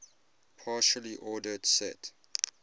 partially ordered set